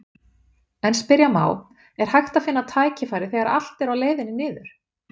En spyrja má, er hægt að finna tækifæri þegar allt er á leiðinni niður?